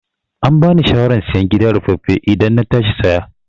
Ambani shawaran sayen gida ruffafe idan na tashi saya